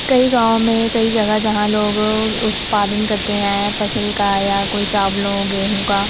कई गाँवो में कई जगह जहां लोग उत्पादन करते है। फसल का या कोई चावलों गेहूं का।